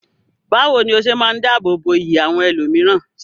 Bawo ni o se maa n dáàbò bo iyì àwọn ẹlòmíràn?